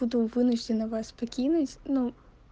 буду вынуждена вас покинуть ну